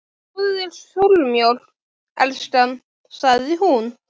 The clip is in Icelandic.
Fáðu þér súrmjólk, elskan, sagði hún.